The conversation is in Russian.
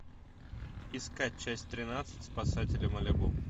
искать часть тринадцать спасатели малибу